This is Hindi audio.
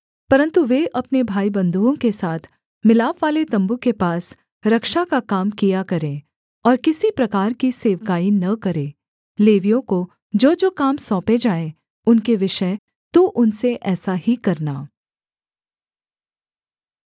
परन्तु वे अपने भाईबन्धुओं के साथ मिलापवाले तम्बू के पास रक्षा का काम किया करें और किसी प्रकार की सेवकाई न करें लेवियों को जोजो काम सौंपे जाएँ उनके विषय तू उनसे ऐसा ही करना